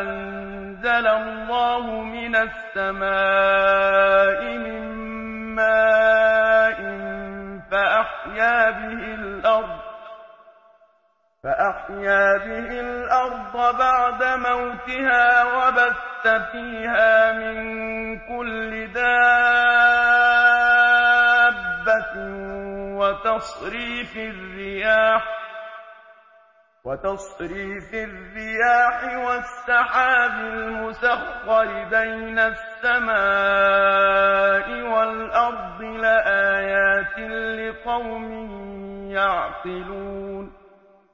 أَنزَلَ اللَّهُ مِنَ السَّمَاءِ مِن مَّاءٍ فَأَحْيَا بِهِ الْأَرْضَ بَعْدَ مَوْتِهَا وَبَثَّ فِيهَا مِن كُلِّ دَابَّةٍ وَتَصْرِيفِ الرِّيَاحِ وَالسَّحَابِ الْمُسَخَّرِ بَيْنَ السَّمَاءِ وَالْأَرْضِ لَآيَاتٍ لِّقَوْمٍ يَعْقِلُونَ